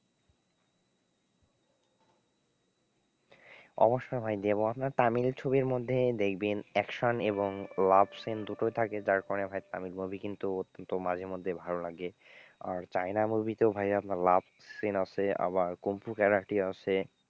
অবশ্যই ভাই দেবো আপনার তামিল ছবির মধ্যে দেখবেন action এবং love scene দুটোই থাকে যার ফলে ভাই তামিল movie কিন্তু অত্যন্ত মাঝে মধ্যেই ভালো লাগে, আর চায়না movie তেও ভাই আপনার love scene আছে আবার কুম্ফু ক্যারাটে আছে।